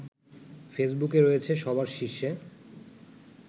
ফেসবুকে রয়েছে সবার শীর্ষে